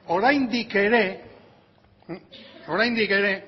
oraindik ere